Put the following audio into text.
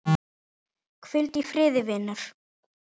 Hvíldu í friði vinur.